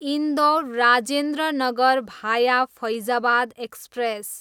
इन्दौर, राजेन्द्र नगर भाया फैजाबाद एक्सप्रेस